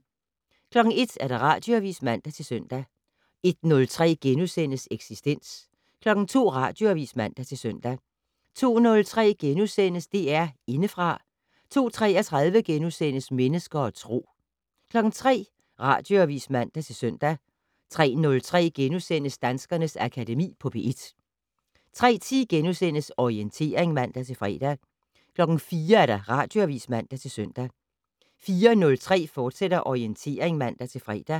01:00: Radioavis (man-søn) 01:03: Eksistens * 02:00: Radioavis (man-søn) 02:03: DR Indefra * 02:33: Mennesker og Tro * 03:00: Radioavis (man-søn) 03:03: Danskernes Akademi på P1 * 03:10: Orientering *(man-fre) 04:00: Radioavis (man-søn) 04:03: Orientering, fortsat (man-fre)